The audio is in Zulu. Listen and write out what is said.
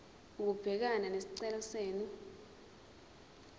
ukubhekana nesicelo senu